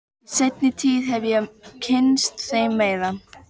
Í seinni tíð hef ég kynnst þeim meira.